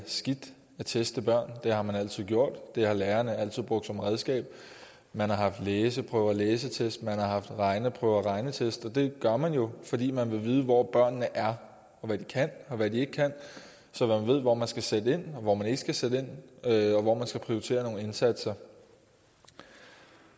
er skidt at teste børn det har man altid gjort det har lærerne altid brugt som redskab man har haft læseprøver og læsetest man har haft regneprøver og regnetest og det gør man jo fordi man vil vide hvor børnene er og hvad de kan og hvad de ikke kan så man ved hvor man skal sætte ind og hvor man ikke skal sætte ind og hvor man skal prioritere nogle indsatser